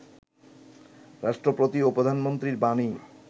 রাষ্ট্রপতি ও প্রধানমন্ত্রীর বাণী